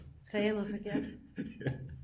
Sagde jeg noget forkert